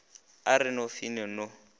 a re no fine no